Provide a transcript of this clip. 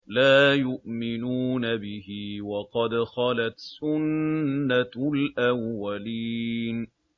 لَا يُؤْمِنُونَ بِهِ ۖ وَقَدْ خَلَتْ سُنَّةُ الْأَوَّلِينَ